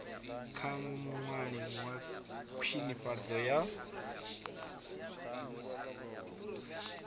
kha muṅwalisi wa khwinifhadzo ya